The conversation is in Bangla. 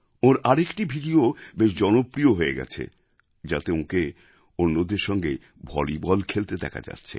ওঁর আর একটি ভিডিওও বেশ জনপ্রিয় হয়ে গেছে যাতে ওঁকে অন্যদের সঙ্গে ভলিবল খেলতে দেখা যাচ্ছে